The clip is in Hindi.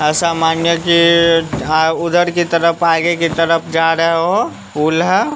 ऐसा मानिए कि अ हां उधर की तरफ आगे की तरफ जा रहे हो हूला --